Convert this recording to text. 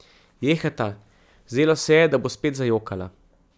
Jejhata, zdelo se je, da bo spet zajokala.